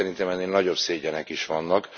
Szerintem ennél nagyobb szégyenek is vannak.